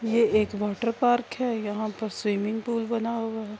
یہ ایک واٹرپارک ہے۔ یہاں پر سوئمنگ پول بنا ہوا ہے۔